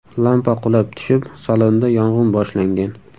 Lampa qulab tushib salonda yong‘in boshlangan.